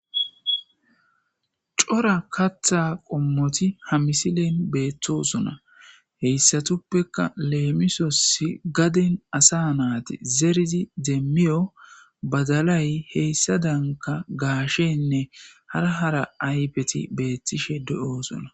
Cora katha qomoti ha misilen beetosona haysatupeka lemisosi garden asa mayti zeridi demiyo badalay hesadanka gasheyne hara hara ayfeti betishe de'osona